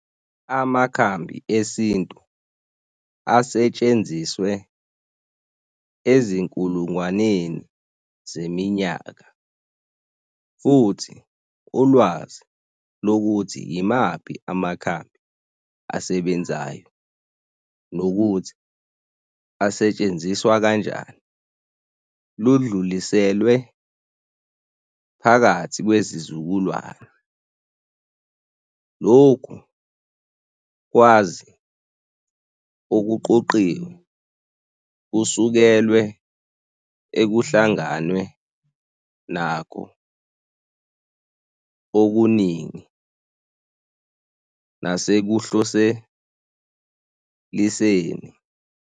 Amakhambi esintu asetshenziswe ezinkulungwaneni zeminyaka futhi ulwazi lokuthi yimaphi amakhambi asebenzayo nokuthi asetshenziswa kanjani ludluliselwe phakathi kwezizukulwane. Loku kwazi okuqoqiwe kusukelwe ekuhlanganwe nakho okuningi nase kuhloseliseni.